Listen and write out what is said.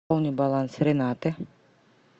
пополни баланс ренаты